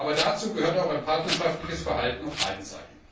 Aber dazu gehört auch ein partnerschaftliches Verhalten auf beiden Seiten.